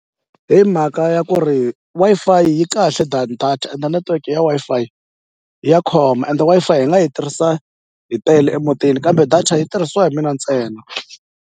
Himhaka ya ku ri Wi-Fi yi kahle than data ende network ya Wi-Fi ya khoma ende Wi-Fi hi nga yi tirhisa hi tele emutini kambe data yi tirhisiwa hi mina ntsena.